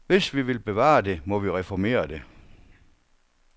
Hvis vi vil bevare det, må vi reformere det.